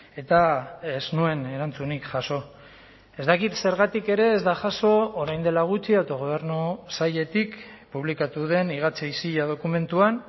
eta ez nuen erantzunik jaso ez dakit zergatik ere ez da jaso orain dela gutxi autogobernu sailetik publikatu den higatze isila dokumentuan